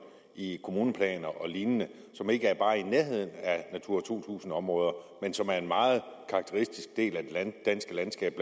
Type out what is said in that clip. i kommuneplaner og lignende som ikke er bare i nærheden af at natura to tusind områder men som er en meget karakteristisk del af det danske landskab